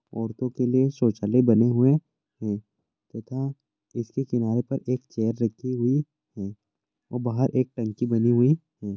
औरतों के लिए शौचालय बने हुए हैं तथा इसके किनारे पर एक चेयर रखी हुई है और बाहर एक टंकी बनी हुई है।